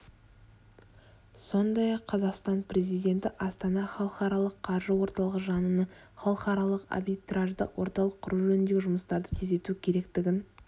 сондай-ақ қазақстан президенті астана халықаралық қаржы орталығы жанынан халықаралық арбитраждық орталық құру жөніндегі жұмыстарды тездету керектігін